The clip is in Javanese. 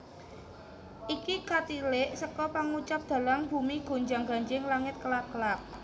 Iki katilik seka pangucap dhalang bumi gonjang ganjing langit kelap kelap